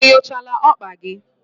Enyochala okpa gi?